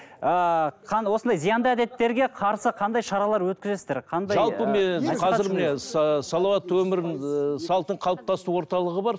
ыыы осындай зиянды әдеттерге қарсы қандай шаралар өткізесіздер салауатты өмір ііі салтын қалыптастыру орталығы бар